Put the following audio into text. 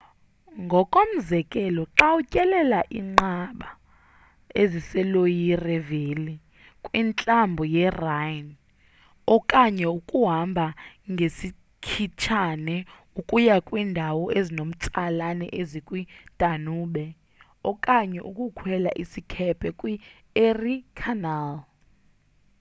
ngokomzekelo xa utyelela iinqaba eziseloire valley kwintlambo yerhine okanye ukuhamba ngesikhitshane ukuya kwindawo ezinomtsalane ezikwidanube okanye ukukhwela isikhephe kwi-erie canal